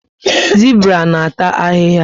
Zibra na ata ahịhịa